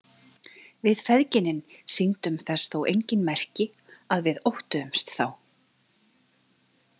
Við feðginin sýndum þess þó engin merki að við óttuðumst þá.